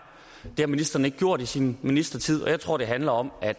det har ministeren ikke gjort i sin ministertid og jeg tror det handler om at